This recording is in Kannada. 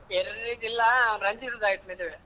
ಯೆರ್ರಿದು ಇಲ್ಲ ರಂಜಿತ್ ಅದ್ ಆಯ್ತು ಮದ್ವೆ.